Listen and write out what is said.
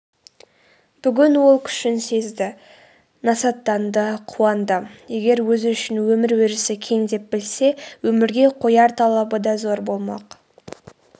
бүгін ол күшін сезді насаттанды қуанды егер өзі үшін өмір өрісі кең деп білсе өмірге қояр талабы да зор болмақ